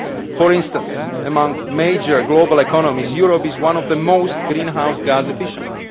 For instance, among major global economies, Europe is one of the most greenhouse gas efficient.